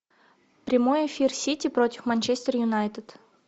прямой эфир сити против манчестер юнайтед